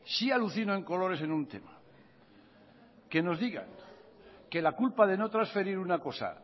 sí alucino en colores en un tema que nos digan que la culpa de no transferir una cosa